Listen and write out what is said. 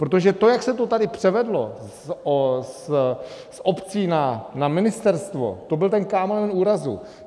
Protože to, jak se to tady převedlo z obcí na ministerstvo, to byl ten kámen úrazu.